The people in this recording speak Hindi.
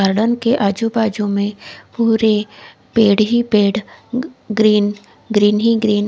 गार्डन के आजू बाजू में पुरे पेड़ ही पेड़ ग्रीन ग्रीन ही ग्रीन --